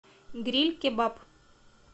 гриль кебаб